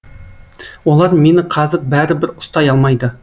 олар мені қазір бәрібір ұстай алмайды